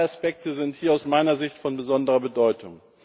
Drei Aspekte sind hier aus meiner Sicht von besonderer Bedeutung.